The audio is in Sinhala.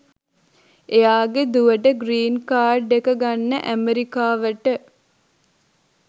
එයාගෙ දුවට ග්‍රීන් කාඩ් එක ගන්න ඇමෙරිකාවට